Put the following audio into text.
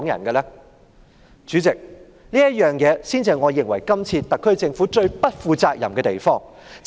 代理主席，這才是我認為這次特區政府最不負責任的地方。